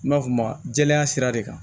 N b'a f'o ma jɛya sira de kan